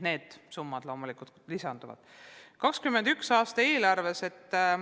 Need summad loomulikult lisanduvad 2021. aasta eelarvesse.